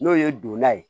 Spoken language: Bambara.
N'o ye donna ye